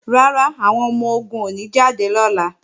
Rárá, àwọn ọmọ-ogun ò ní jáde lọ́la